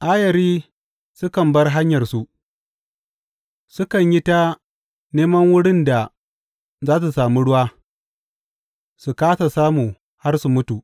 Ayari sukan bar hanyarsu; sukan yi ta neman wurin da za su sami ruwa, su kāsa samu har su mutu.